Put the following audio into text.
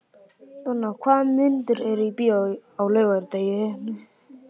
Donna, hvaða myndir eru í bíó á laugardaginn?